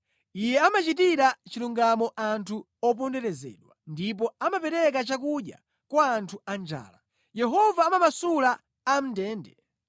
Iye amachitira chilungamo anthu oponderezedwa ndipo amapereka chakudya kwa anthu anjala. Yehova amamasula amʼndende,